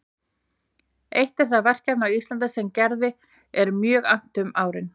Eitt er það verkefni á Íslandi sem Gerði er mjög annt um árin